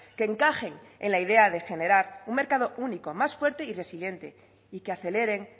que encajen en la idea de generar un mercado único más fuerte y resiliente y que aceleren